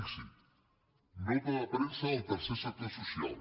fixi’s nota de premsa del tercer sector social